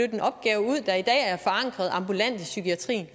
en opgave ud der i dag er forankret ambulant i psykiatrien